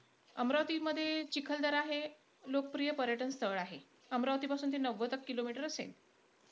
अमरावतीमध्ये चिखलदरा हे लोकप्रिय पर्यटनस्थळ आहे. अमरावती पासून ते नव्वद-एक kilometer असेल.